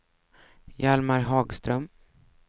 Hjalmar Hagström